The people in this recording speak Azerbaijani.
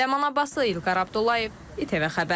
Ləman Abbaslı, İlqar Abdullayev, İTV Xəbər.